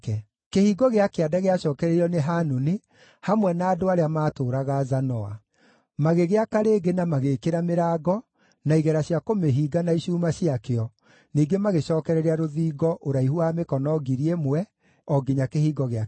Kĩhingo gĩa Kĩanda gĩacookereirio nĩ Hanuni hamwe na andũ arĩa maatũũraga Zanoa. Magĩgĩaka rĩngĩ na magĩĩkĩra mĩrango, na igera cia kũmĩhinga na icuuma ciakĩo, ningĩ magĩcookereria rũthingo ũraihu wa mĩkono 1,000 o nginya Kĩhingo gĩa Kĩara-inĩ.